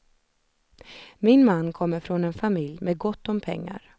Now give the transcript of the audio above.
Min man kommer från en familj med gott om pengar.